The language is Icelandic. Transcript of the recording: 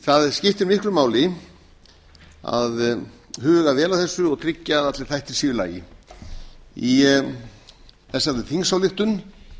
það skiptir miklu máli að huga vel að þessu og tryggja að allir þættir séu í lagi í þessari þingsályktun